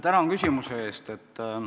Tänan küsimuse eest!